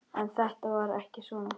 En þetta var ekki svona.